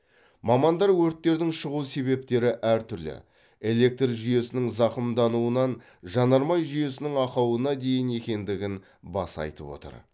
мамандар өрттердің шығу себептері әртүрлі электр жүйесінің зақымдануынан жанармай жүйесінің ақауына дейін екендігін баса айтып отыр